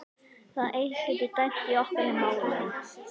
Það eitt getur dæmt í okkar málum.